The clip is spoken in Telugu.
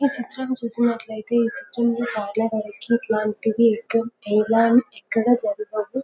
ఈ చిత్రం చూసినట్టైతే ఈ చిత్రం లో చాలా వారికీ ఇట్లాంటివి ఎక్కడ జరగవు.